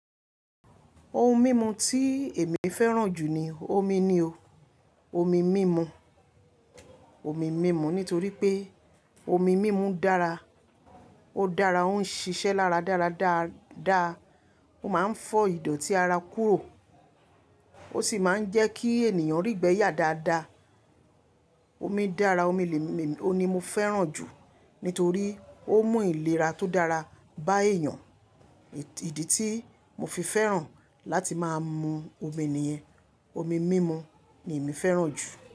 Ohun mímu tí èmi fẹ́ràn jù ni omi ni o. Omi mímu, omi mímu nítorí pé omi mímu dára, ó dára, ó ń ṣiṣẹ́ lára dára dáadáa, ó máa ń fọ ìdọ̀tí ara kúrò, ó sì máa ń jẹ́ kí ènìyàn rígbẹ yà dáadáa. Omi dára, omi lè mi-- òun ní mo fẹ́ràn jù nítorí ó mú ìlera tó dára bá èèyàn. Ìdí tí mo fi fẹ́ràn láti máa mu omi nìyẹn. Omi mímu ni èmi fẹ́ràn jù.